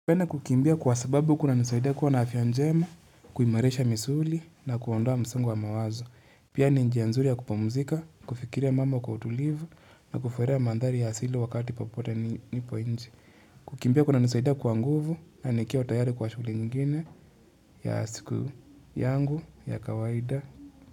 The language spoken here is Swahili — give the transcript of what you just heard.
Napenda kukimbia kwa sababu kunanisaida kuwa na afya njema, kuimarisha misuli na kuondoa msongo wa mawazo. Pia ni njia nzuri ya kupumzika, kufikiria mambo kwa utulivu, na kufurahia mandhari ya asilo wakati popote nipo nje. Kukimbia kunanisaida kwa nguvu na nikiwa tayari kwa shughuli nyingine ya siku yangu ya kawaida.